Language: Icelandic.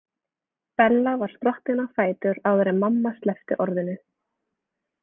Bella var sprottin á fætur áður en mamma sleppti orðinu.